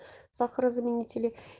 сахарозаменители